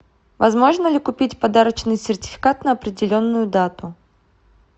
возможно ли купить подарочный сертификат на определенную дату